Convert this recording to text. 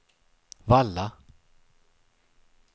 Valla